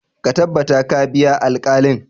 Ka tabbata ka biya alkalin!